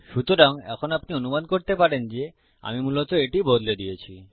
সুতরাং এখন আপনি অনুমান করতে পারেন যে আমি মূলত এটি বদলে দিয়েছি